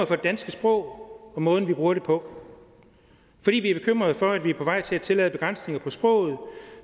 for det danske sprog og måden man bruger det på fordi vi er bekymret for at man er på vej til at tillade begrænsninger på sproget